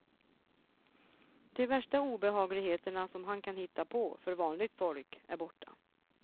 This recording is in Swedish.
De värsta obehagligheterna som han kan hitta på för vanligt folk är borta.